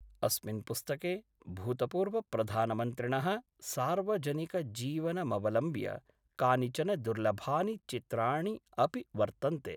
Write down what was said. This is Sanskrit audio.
अस्मिन् पुस्तके भूतपूर्वप्रधानमन्त्रिणः सार्वजनिक जीवनमवलम्ब्य कानिचन दुर्लभानि चित्राणि अपि वर्तन्ते।